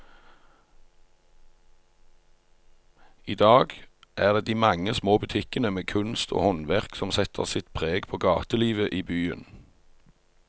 I dag er det de mange små butikkene med kunst og håndverk som setter sitt preg på gatelivet i byen.